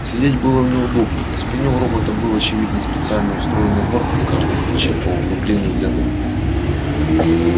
сидеть было неудобно на спине у робота был очевидно специально устроенный горб на каждом плече по углублению для ног